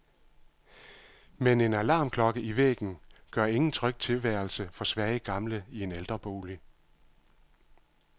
Men en alarmklokke i væggen gør ingen tryg tilværelse for svage gamle i en ældrebolig.